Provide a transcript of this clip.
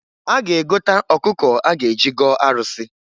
A ga-egota ọkụkọ a ga-eji gọọ arụsị.